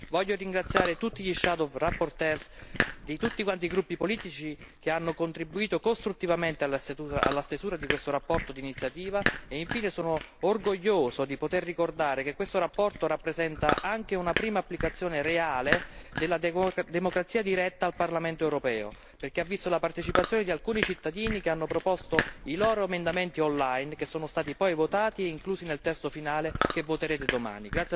Voglio ringraziare tutti i relatori ombra di tutti i gruppi politici che hanno contribuito costruttivamente alla stesura di questa relazione d'iniziativa e, infine, sono orgoglioso di poter ricordare che questa relazione rappresenta anche una prima applicazione reale della democrazia diretta al Parlamento europeo, perché ha visto la partecipazione di alcuni cittadini che hanno proposto i loro emendamenti on line, che sono stati poi votati e inclusi nel testo finale che voterete domani.